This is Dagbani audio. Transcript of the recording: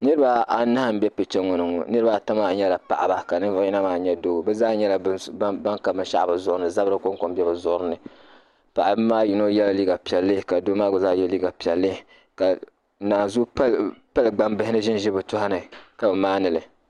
niriba anahi m-be picha ŋɔ ni ŋɔ niriba maa nyɛla paɣiba ka ninvuɣ' yino maa nyɛ doo bɛ zaa nyɛla ban ka binshɛɣu bɛ zuɣiri ni zabiri kɔŋko m-be bɛ zuɣiri ni paɣiba maa yino yɛla liiga piɛlli ka doo maa gba zaa ye liiga piɛlli ka nanzuhi pali gbambihi ni ʒinʒi bɛ tɔhi ni ka maandi li